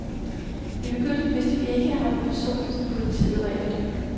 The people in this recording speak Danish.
I begyndelsen vidste vi ikke, at han var den person, som politiet var efter.